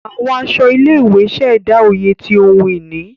Àwọn aṣọ ilé-ìwé ṣẹda oyè ti ohùn ìní.